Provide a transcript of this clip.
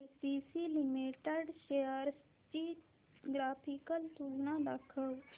ACC Limited shares ची graphical तुलना दाखव